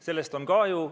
Sellest on kahju.